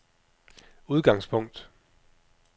udgangspunkt